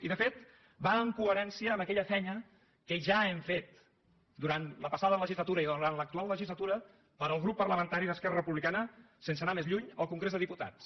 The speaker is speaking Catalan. i de fet va en coherència amb aquella feina que ja hem fet durant la passada legislatura i durant l’actual legis·latura pel grup parlamentari d’esquerra republicana sense anar més lluny al congrés dels diputats